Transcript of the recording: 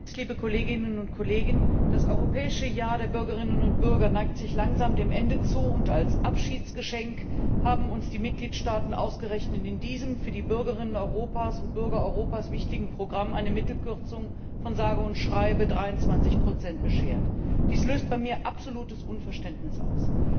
Herr Präsident, liebe Kolleginnen und Kollegen! Das Europäische Jahr der Bürgerinnen und Bürger neigt sich langsam dem Ende zu und als Abschiedsgeschenk haben uns die Mitgliedstaaten ausgerechnet in diesem, für die Bürgerinnen und Bürger Europas wichtigem Programm eine Mittelkürzung von sage und schreibe 23 beschert. Dies löst bei mir absolutes Unverständnis aus!